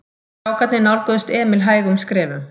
Strákarnir nálguðust Emil hægum skrefum.